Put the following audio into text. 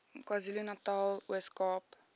kwazulunatal ooskaap